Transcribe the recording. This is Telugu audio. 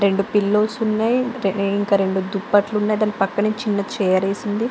రెండు పిల్లోస్ ఉన్నాయి. ఇంకా రెండు దుప్పట్లు ఉన్నాయి. దాని పక్కనే చిన్న చీర వేసివుంది.